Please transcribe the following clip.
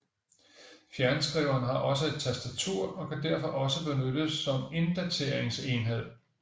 Fjernskriveren har også et tastatur og kan derfor også benyttes som inddateringsenhed